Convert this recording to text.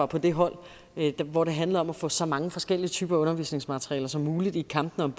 på det hold hvor det handlede om at få så mange forskellige typer undervisningsmateriale som muligt i kampene